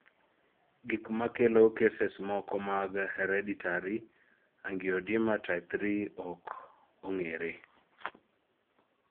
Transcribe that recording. gimkmakelo cases moko mag hereditary angioedema type III ok ong'ere